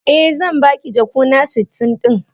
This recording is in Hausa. Eh, zan baki jakuna sitin din.